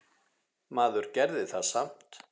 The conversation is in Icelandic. Maður gerði það samt.